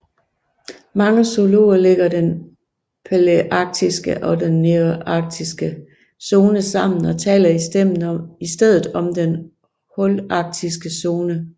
Mange zoologer lægger den palæarktiske og den nearktiske zone sammen og taler i stedet om den holarktiske zone